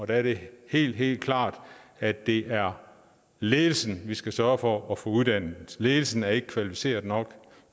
der er det helt helt klart at det er ledelsen vi skal sørge for at få uddannet ledelsen er ikke kvalificeret nok